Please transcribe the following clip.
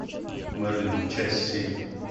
мерлин часть семь